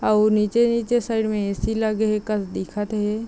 और नीचे -नीचे सर ए_सी लगाए हे कस दिखत हे ।